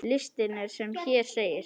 Listinn er sem hér segir